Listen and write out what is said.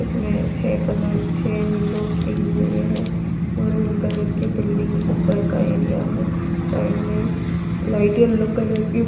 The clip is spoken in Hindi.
इसमें छे कलर छे वीएनंडोज़ दी हुई हैं और मरून कलर की बिल्डिंग ऊपर का एरिया है। साइड में लाइट येलो कलर की --